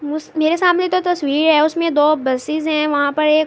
میرے سامنے دو تشویر ہے۔ اسمے دو بسس ہے۔ وہاں پر ایک--